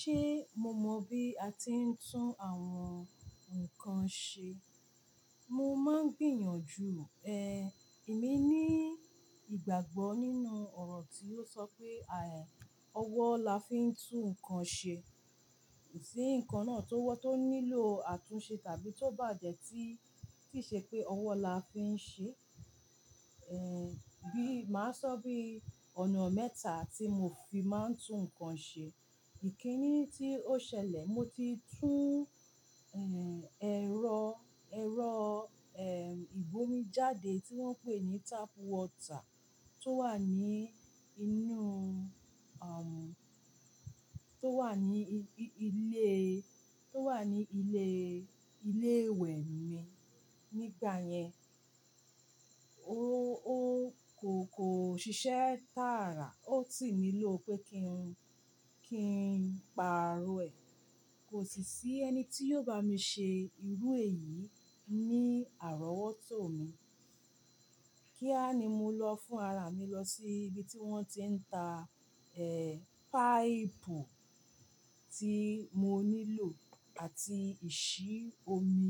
Ṣé mo mọ bí a ti ń tún àwọn nǹkan ṣe? Mo máa ń gbìyànjú, ẹ, èmi ní ìgbàgbọ́ nínú ọ̀rọ̀ tí ó sọ pé, ẹ, ọwọ́ la fi ń tún ǹkan ṣe. Ṣí ǹkan náà tó wọ́ tó nílò àtúnṣe tàbí tó bàjẹ́ tí kìí ṣe pé ọwọ́ la fi ń ṣe, ẹ, bí, màá sọ bí ọ̀nà mẹ́ta tí mo fi máa ń tún ǹkan ṣe. Ìkíni tí ó ṣẹlẹ̀, mo ti tún, ẹ, ẹ̀rọ, ẹ̀rọ, ẹ, ìbomi jáde tí wọ́n ń pè ní tap water tó wà ní inú, àwọn, tó wà ní ilé, tó wà ní ilé, ilé ìwẹ̀ mi. Nígbà yẹn, ó, ó kò, kò ṣiṣẹ́ tààrà, ó ti mílò pé kí n, kí n pààrọ̀ ẹ̀. Kò sì sí ẹni tí yóò bá mi ṣe irú èyí ní àrọ́wọ́tó mi. Kíá ni mo lọ fún ara mi lọ sí ibi tí wọ́n ti ń ta, ẹ, páìpù tí mo nílò àti ìṣí omi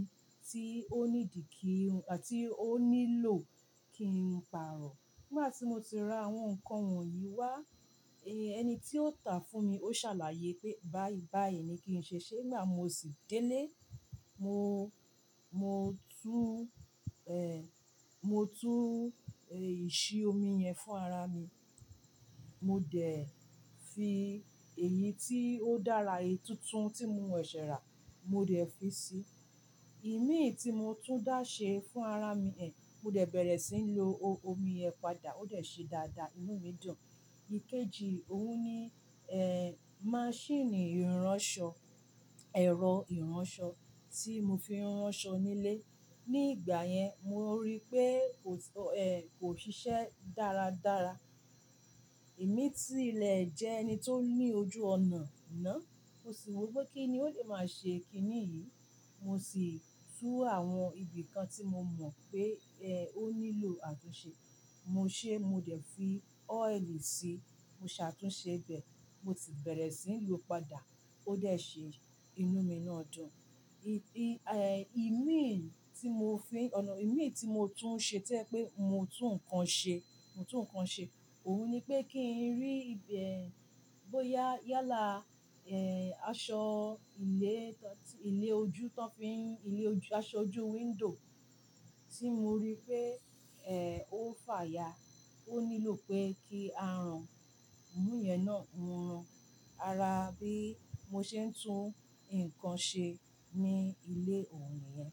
tí ó ní dì kí, àti ó nílò kí n pààrọ̀. Nígbà tí mo ti ra àwọn ǹkan wọ̀nyí wá, ẹni tí ó tà fún mi ó ṣàlàyé pé báyìí, báyìí ni kí n ṣe ṣe. Nígbà mo sì délé, mo, mo tún, ẹ, mo tún, ẹ, ìṣí omi yẹn fún ara mi. Mo dẹ̀ fi èyí tí ó dára yìí tuntun tí mo wẹ̀ ṣẹ̀rà, mo dẹ̀ fi sí i. Ìmí tí mo tún dá ṣe fún ara mi, ẹ, mo dẹ̀ bẹ̀rẹ̀ sí ń lo omi ẹ padà, ó dẹ̀ ṣe dáadáa, inú mi dùn. Ikeji òun ni, ẹ, maṣíìnì ìránṣọ, ẹ̀rọ ìránṣọ tí mo fi ń ránṣọ nílé. Nígbà yẹn, mo rí pé kò, ẹ, kò ṣiṣẹ́ dáradára. Èmi tí ilẹ̀ jẹ ẹni tó ní ojú ọ̀nà náà, ó sì wí pé kí ni ó lè máa ṣe kíní yìí. Mo sì tú àwọn ibì kan tí mo mọ̀ pé, ẹ, ó nílò àtúnṣe. Mo ṣe, mo dẹ̀ fi oil sí i, mo ṣàtúnṣe bẹ. Mo sì bẹ̀rẹ̀ sí ń lò ó padà. Ó dẹ̀ ṣe, inú mi náà dùn. Ìdí, ẹ, ìmíì tí mo fi ọ̀nà, ìmíì tí mo tún ṣe jẹ́ pé mo tún ǹkan ṣe, mo tún ǹkan ṣe. Òun ni pé kí n rí ibẹ̀, bóyá yálà, ẹ, aṣọ ilé, ilé ojú tán fí ń, ilé ojú, aṣọ ojú window tí mo rí pé, ẹ, ó fà ya. Ó nílò pé kí a rán. Òun yẹn náà ń ran ara bí mo ṣe ń tún ǹkan ṣe ní ilé òun yẹn.